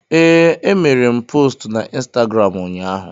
Ee, emere m postu na Ịnstagram ụnyaahụ